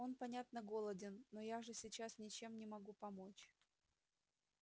он понятно голоден но я же сейчас ничем не могу помочь